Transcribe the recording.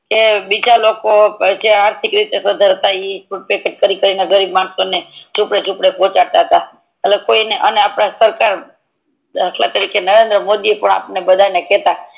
કે જે બીજા લોકો જે આર્થિક રીતે સધ્ધર હતા ઈ મેહનત કરી ને ટુકડે ટુકડે ગરીબ માણસો ને પોકડતતા અને આપડે કોઈ ને અપડી સરકાર દાખલ તરીકે નરેન્દ્ર મોદી પણ આપડને કેતા